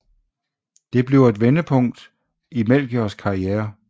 Det bliver et vendepunkt i Melchiors karriere